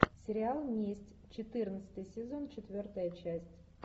сериал месть четырнадцатый сезон четвертая часть